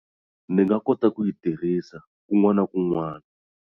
Ni nga kota ku yi tirhisa kun'wana na kun'wana.